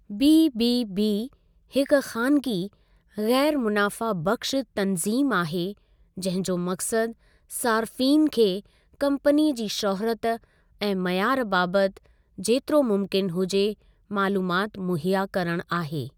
BBB हिक ख़ानिगी, ग़ैरु मुनाफ़ा बख़्शु तनज़ीम आहे जंहिं जो मक़सदु सारिफ़ीन खे कम्पनी जी शौहरत ऐं मयारु बाबति जेतिरो मुमकिनु हुजे मालूमात मुहैया करणु आहे।